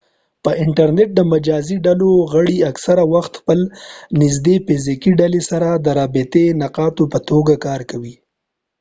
په انټرنټ د مجازي ډلو غړي اکثره وخت خپل نږدني فزیکي ډلې سره د رابطې نقاطو په توګه کار کوي